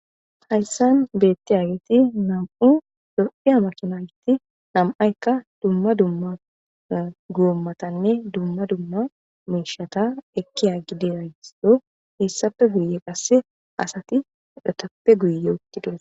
hayssan beetti aageti nam7u do7i amakinayti namaykka dumma dumma guommatanne dumma dumma miishata ekkiyaggide raysdo heessappe guye qasse asati udhetappe guye uttidos